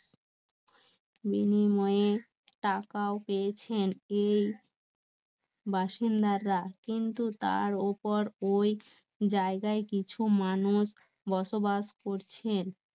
টাকাও পেয়েছেন এই বাসিন্দারা কিন্তু তার ওপর ওই জায়গায় কিছু মানুষ বসবাস করছে